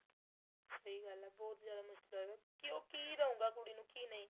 ਸਹੀਂ ਗੱਲ ਆ ਬਹੁਤ ਜਿਆਦਾ ਮੁਸ਼ਕਿਲ ਹੋ ਗਿਆ ਕਿਉ ਕੀ ਦਉਗਾ ਕੁੜੀ ਨੂੰ ਕੀ ਨਹੀਂ